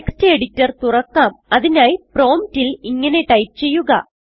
text editor തുറക്കാം അതിനായി promptൽ ഇങ്ങനെ ടൈപ്പ് ചെയ്യുക